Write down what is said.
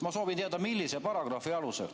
Ma soovin teada, millise paragrahvi alusel.